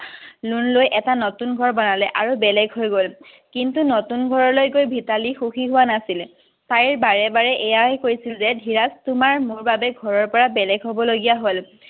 loan লৈ এটা নতুন ঘৰ বনালে আৰু বেলেগ হৈ গল। কিন্তু নতুন ঘৰলৈ গৈ মিতালী সুখী হোৱা নাছিল। তাই বাৰে বাৰে এয়ে কৈছিল যে ধীৰজ তোমাৰ মোৰ বাবে ঘৰৰ পৰা বেলেগ হ'ব লগীয়া হ'ল।